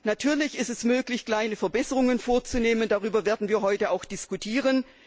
Natürlich ist es möglich, kleine Verbesserungen vorzunehmen, darüber werden wir heute auch diskutieren.